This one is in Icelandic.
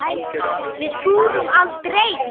Við túrum aldrei!